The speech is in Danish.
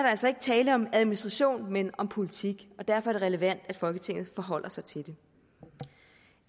altså ikke tale om administration men om politik og derfor er det relevant at folketinget forholder sig til det